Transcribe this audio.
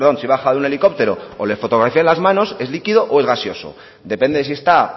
si baja de un helicóptero o le fotografían las manos es liquido o es gaseoso depende si está